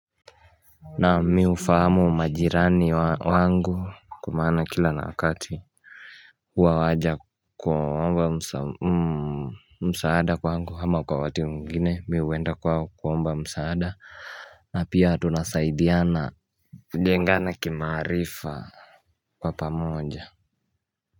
Naam mimi hufahamu majirani wangu kwa maana kila na wakati huwa waja kuomba msaada kwangu ama kwa wakati mwingine mimi huenda kwao kuomba msaada na pia tunasaidiana kujengana kimaarifa Kwa pamoja.